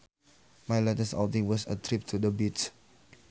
My latest outing was a trip to the beach